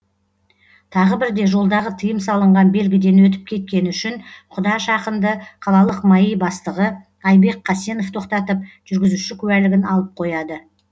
тағы бірде жолдағы тыйым салынған белгіден өтіп кеткені үшін құдаш ақынды қалалық маи бастығы айбек қасенов тоқтатып жүргізуші куәлігін алып қояды